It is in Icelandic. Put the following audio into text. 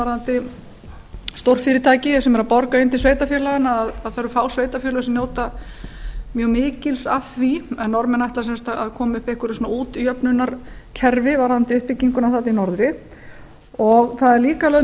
varðandi stórfyrirtæki sem eru að borga inn til sveitarfélaganna að það eru fá sveitarfélög sem njóta mjög mikils af því en norðmenn ætla sem sagt að koma upp einhverju svona útjöfnunarkerfi varðandi uppbygginguna þarna í norðri það er líka lögð